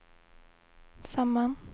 samman